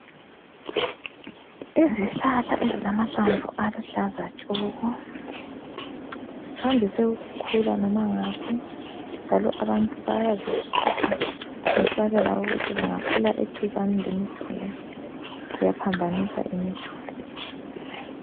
Izihlahla ezilamahlamvu aluhlaza tshoko zandise ukukhulu loba ngaphi njalo abantu bayazikhipha besabela ukuthi zingakhula eduzane lemiduli ziyaphambanisa imiduli.